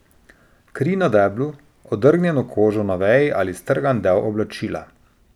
Kri na deblu, odrgnjeno kožo na veji ali strgan del oblačila.